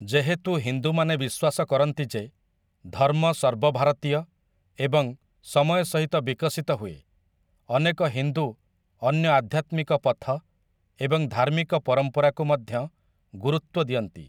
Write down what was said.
ଯେହେତୁ ହିନ୍ଦୁମାନେ ବିଶ୍ୱାସ କରନ୍ତି ଯେ, ଧର୍ମ ସର୍ବଭାରତୀୟ ଏବଂ ସମୟ ସହିତ ବିକଶିତ ହୁଏ, ଅନେକ ହିନ୍ଦୁ ଅନ୍ୟ ଆଧ୍ୟାତ୍ମିକ ପଥ ଏବଂ ଧାର୍ମିକ ପରମ୍ପରାକୁ ମଧ୍ୟ ଗୁରୁତ୍ୱ ଦିଅନ୍ତି ।